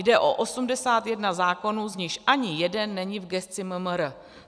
Jde o 81 zákonů, z nichž ani jeden není v gesci MMR.